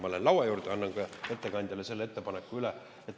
Ma lähen laua juurde ja annan ettekandjale selle ettepaneku üle.